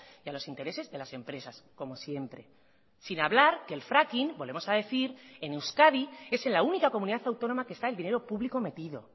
y a los intereses de las empresas como siempre sin hablar que el fracking volvemos a decir en euskadi es en la única comunidad autónoma que está el dinero público metido